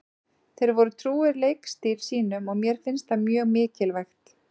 Þeir voru trúir leikstíl sínum og mér finnst það mjög mikilvægt.